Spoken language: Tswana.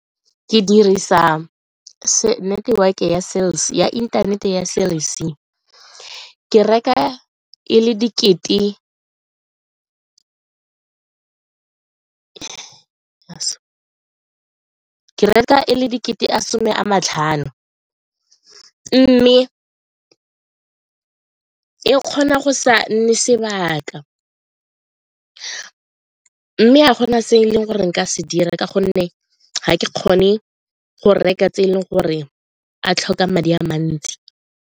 Ke dirisa network ya internet-e ya Cell C ke reka e le dikete a some a matlhano mme ke kgona go sa nne sebaka mme a go na se e leng gore nka se dira ka gonne ga ke kgone go reka tse e leng gore a tlhoka madi a mantsi.